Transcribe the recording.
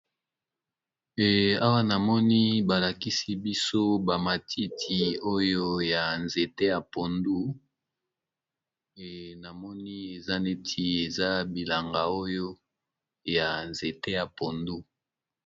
Awa na moni balakisi biso bamatiti oyo ya nzete ya pondu na moni eza neti eza bilanga oyo ya nzete ya pondu.